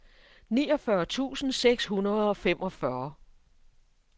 niogfyrre tusind seks hundrede og femogfyrre